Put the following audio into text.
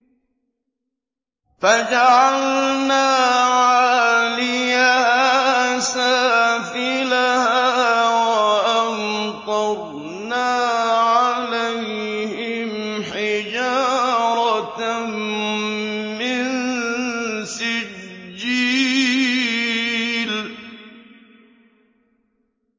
فَجَعَلْنَا عَالِيَهَا سَافِلَهَا وَأَمْطَرْنَا عَلَيْهِمْ حِجَارَةً مِّن سِجِّيلٍ